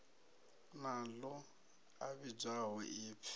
na ḽo a vhidzwaho upfi